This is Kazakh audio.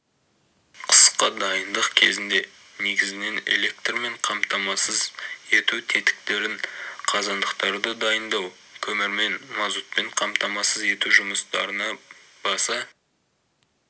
қысқа дайындық кезінде негізінен электрмен қамтамасыз ету тетіктерін қазандықтарды дайындау көмірмен мазутпен қамтамасыз ету жұмыстарына баса